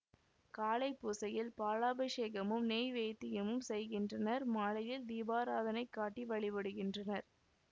காலை பூசையில் பாலாபிஷேகமும் நெய்வேத்தியமும் செய்கின்றனர் மாலையில் தீபாராதனை காட்டி வழிபடுகின்றனர்